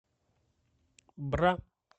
бра